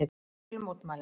Ég vil mótmæla.